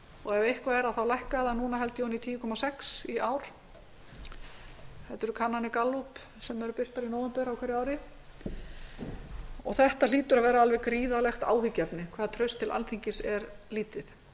og ef eitthvað er þá lækkar það núna held ég ofan í tíu komma sex í ár þetta eru kannanir gallups sem eru birtar í nóvember á hverju ári og þetta hlýtur að vera alveg gríðarlegt áhyggjuefni hve traust til alþingis er lítið